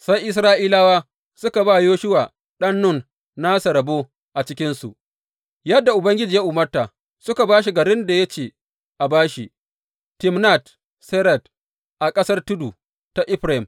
Sai Isra’ilawa suka ba Yoshuwa ɗan Nun nasa rabo a cikinsu, yadda Ubangiji ya umarta, suka ba shi garin da ya ce a ba shi, Timnat Serad a ƙasar tudu ta Efraim.